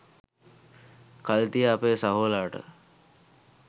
කල් තියා අපේ සහෝලාට